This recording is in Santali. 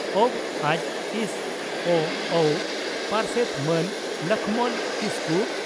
ᱵᱹᱡᱹᱥᱹᱚᱹᱜᱹ ᱯᱟᱨᱥᱮᱛ ᱢᱟᱹᱱ ᱞᱚᱠᱷᱢᱚᱱ ᱠᱤᱥᱠᱩ